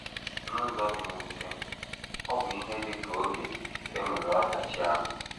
N’ụzọ dị mwute, ọ bụ ihe dị ka oge e nwere ọdachi ahụ.